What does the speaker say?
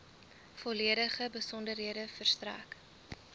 volledige besonderhede verstrek